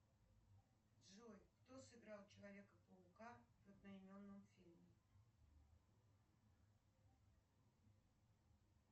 джой кто сыграл человека паука в одноименном фильме